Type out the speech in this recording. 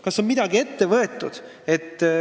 Kas on midagi ette võetud?